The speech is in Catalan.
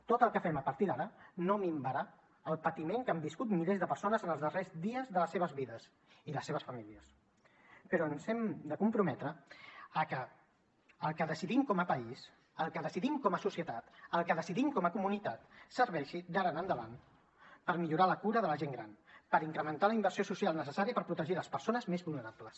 tot el que fem a partir d’ara no minvarà el patiment que han viscut milers de persones en els darrers dies de les seves vides i les seves famílies però ens hem de comprometre a que el que decidim com a país el que decidim com a societat el que decidim com a comunitat serveixi d’ara endavant per millorar la cura de la gent gran per incrementar la inversió social necessària per protegir les persones més vulnerables